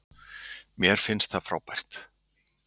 Mér fannst það frábært.